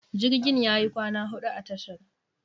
Jirgin yayi kwana huɗu a tashar.